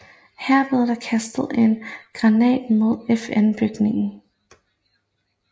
Her blev der kastet en granat mod en FNbygning